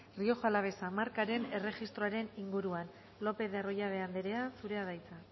rioja alavesa markaren erregistroaren inguruan lopez de arroyabe anderea zurea da hitza